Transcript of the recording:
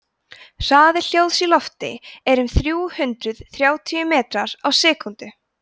hraði hljóðs í lofti er um þrjú hundruð þrjátíu metrar á sekúndu